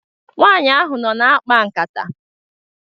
Nwanyị ahụ nọ na-akpa nkata.